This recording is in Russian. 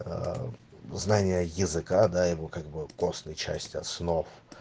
аа знания языка да его как бы костной части основ